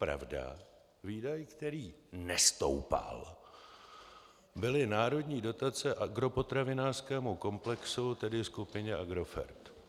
Pravda, výdaj, který nestoupal, byly národní dotace agropotravinářskému komplexu, tedy skupině Agrofert.